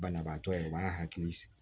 Banabaatɔ ye u b'a hakili sigi